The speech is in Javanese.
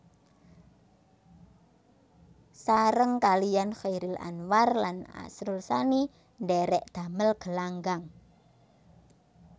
Sareng kaliyan Chairil Anwar lan Asrul Sani ndhèrèk damel Gelanggang